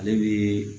Ale bɛ